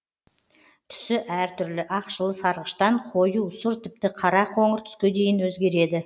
түсі әр түрлі ақшыл сарғыштан қою сұр тіпті қара қоңыр түске дейін өзгереді